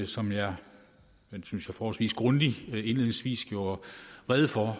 som jeg forholdsvis grundigt synes jeg indledningsvis gjorde rede for